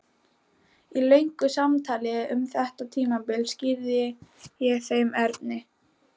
Í löngu samtali um þetta tímabil skýrði ég þeim Erni